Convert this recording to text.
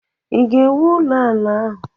Ị ga-ewu ụlọ ala ahụ?